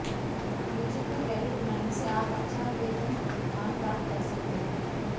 music में career बनाने से आप अच्छा वेतनमान प्राप्त कर सकते हैं